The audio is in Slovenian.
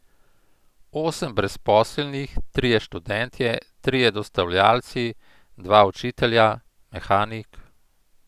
Osem brezposelnih, trije študentje, trije dostavljalci, dva učitelja, mehanik...